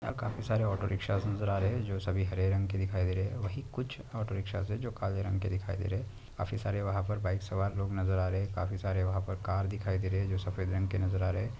यहाँ काफी सारे ऑटो रिक्षास नजर आ रहे है जो सभी हरे रंग के दिखाई दे रही है वही कुछ ऑटो रिक्षास जो काले रंग के दिखाई दे रही है काफी सारे वहा पर बाइक सवार लोग नजर आ रहे है काफी सारे वहा पर कार दिखाई दे रही है जो सफ़ेद रंग के नजर आ रहे है।